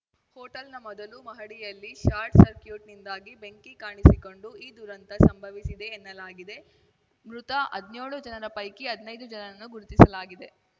ಹೋಟೆಲ್‌ನ ಮೊದಲು ಮಹಡಿಯಲ್ಲಿ ಶಾರ್ಟ್‌ ಸರ್ಕ್ಯೂಟ್ನಿಂದಾಗಿ ಬೆಂಕಿ ಕಾಣಿಸಿಕೊಂಡು ಈ ದುರಂತ ಸಂಭವಿಸಿದೆ ಎನ್ನಲಾಗಿದೆ ಮೃತ ಹದ್ನ್ಯೋಳು ಜನರ ಪೈಕಿ ಹದ್ನೈದು ಜನರನ್ನು ಗುರುತಿಸಲಾಗಿದೆ